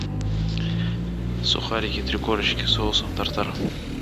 сухарики три корочки с соусом тар тар